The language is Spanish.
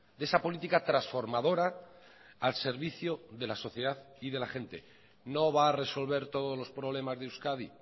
de esa política transformadora al servicio de la sociedad y de la gente no va a resolver todos los problemas de euskadi